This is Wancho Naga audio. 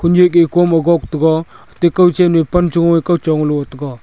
nyehge kom agok tega ate kawchen e panchoe kawcho lo taiga.